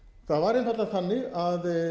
það var einfaldlega þannig að